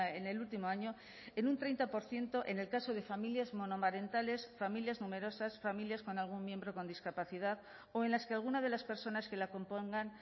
en el último año en un treinta por ciento en el caso de familias monomarentales familias numerosas familias con algún miembro con discapacidad o en las que alguna de las personas que la compongan